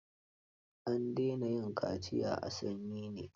An daina yin kaciya a sanyi ne?